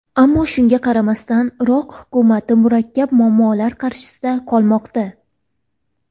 Ammo, shunga qaramasdan, Iroq hukumati murakkab muammolar qarshisida qolmoqda.